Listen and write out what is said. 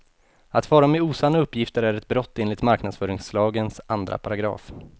Att fara med osanna uppgifter är ett brott enligt marknadsföringslagens andra paragraf.